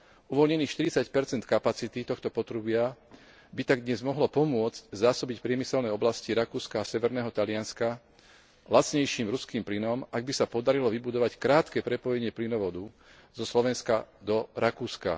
Uvoľnených 40 kapacity tohto potrubia by tak dnes mohlo pomôcť zásobiť priemyselné oblasti Rakúska a severného Talianska lacnejším ruským plynom, ak by sa podarilo vybudovať krátke prepojenie plynovodu zo Slovenska do Rakúska.